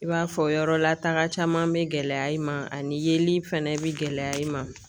I b'a fɔ yɔrɔ lataga caman bɛ gɛlɛya i ma ani yeli fɛnɛ bi gɛlɛya i ma.